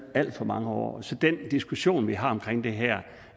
alt for mange år så den diskussion vi har omkring det her